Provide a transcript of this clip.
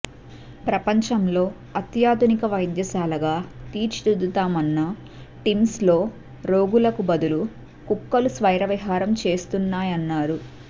ప్రపంచంలో అత్యాధునిక వైద్యశాలగా తీర్చిదిద్దుతామన్న టిమ్స్లో రోగులకు బదులు కుక్కలు స్వైరవిహారం చేస్తున్నాయన్నారు